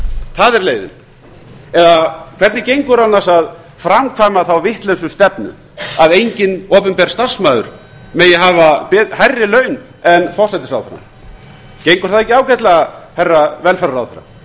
það er leiðin eða hvernig gengur annars að framkvæma þá vitlausu stefnu að enginn opinber starfsmaður megi hafa hærri laun en forsætisráðherrann gengur það ekki ágætlega herra velferðarráðherra